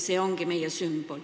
See ongi meie sümbol.